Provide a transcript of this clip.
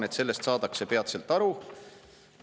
–, aga sellest saadakse peatselt aru.